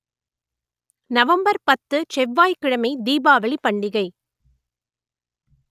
November பத்து செவ்வாய் கிழமை தீபாவளி பண்டிகை